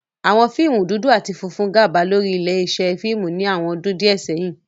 Awọn fiimu dudu ati funfun jẹ gaba lori ile-iṣẹ fiimu ni awọn ọ́dùn diẹ sẹyin.